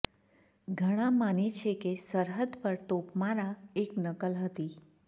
ઘણા માને છે કે સરહદ પર તોપમારા એક નકલ હતી